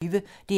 DR P1